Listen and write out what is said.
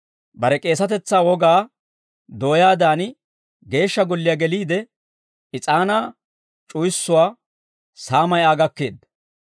bare K'eesatetsaa wogaa dooyaadan Geeshsha Golliyaa geliide is'aanaa c'uwissuwaa saamay Aa gakkeedda.